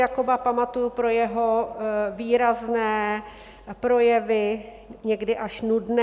Jakoba pamatuji pro jeho výrazné projevy, někdy až nudné.